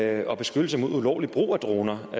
er der beskyttelsen mod ulovlig brug af droner